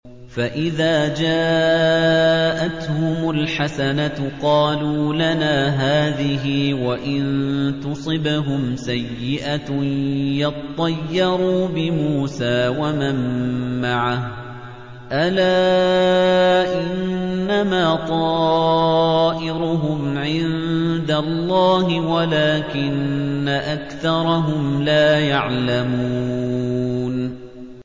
فَإِذَا جَاءَتْهُمُ الْحَسَنَةُ قَالُوا لَنَا هَٰذِهِ ۖ وَإِن تُصِبْهُمْ سَيِّئَةٌ يَطَّيَّرُوا بِمُوسَىٰ وَمَن مَّعَهُ ۗ أَلَا إِنَّمَا طَائِرُهُمْ عِندَ اللَّهِ وَلَٰكِنَّ أَكْثَرَهُمْ لَا يَعْلَمُونَ